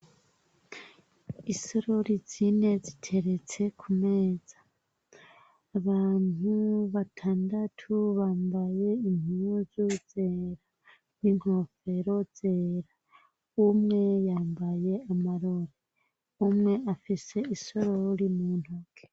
Isorori zine ziteretse ku meza. Abantu batandatu bambaye impuzu zera n'inkofero zera. Umwe yambaye amarori. Umwe afise isorori mu ntoke.